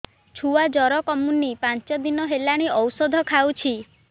ଛୁଆ ଜର କମୁନି ପାଞ୍ଚ ଦିନ ହେଲାଣି ଔଷଧ ଖାଉଛି